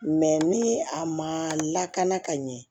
ni a ma lakana ka ɲɛ